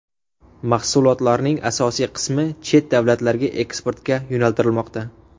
Mahsulotlarning asosiy qismi chet davlatlarga eksportga yo‘naltirilmoqda.